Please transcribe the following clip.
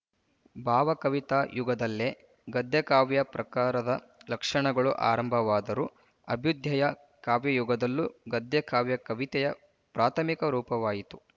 ಭಾವಕವಿತಾ ಯುಗದಲ್ಲೇ ಗದ್ಯಕಾವ್ಯ ಪ್ರಕಾರದ ಲಕ್ಷಣಗಳು ಆರಂಭವಾದರೂ ಅಭ್ಯುದಯ ಕಾವ್ಯಯುಗದಲ್ಲೂ ಗದ್ಯಕಾವ್ಯ ಕವಿತೆಯ ಪ್ರಾಥಮಿಕ ರೂಪವಾಯಿತು